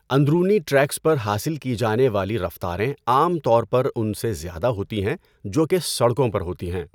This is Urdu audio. اندرونی ٹریکس پر حاصل کی جانے والی رفتاریں عام طور پر ان سے زیادہ ہوتی ہیں جو کہ سڑکوں پر ہوتی ہیں۔